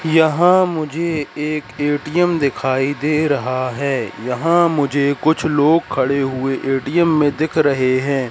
यहां मुझे एक ए_टी_एम दिखाई दे रहा है यहां मुझे कुछ लोग खड़े हुए ए_टी_एम में दिख रहे हैं।